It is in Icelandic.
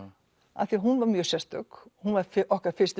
af því hún var mjög sérstök hún var okkar fyrsti